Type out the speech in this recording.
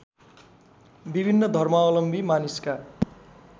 विभिन्न धर्मावलम्बी मानिसका